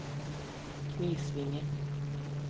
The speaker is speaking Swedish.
Knislinge